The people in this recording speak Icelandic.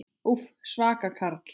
Úff, svaka karl.